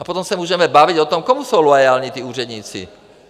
A potom se můžeme bavit o tom, komu jsou loajální ti úředníci.